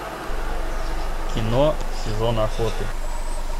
кино сезон охоты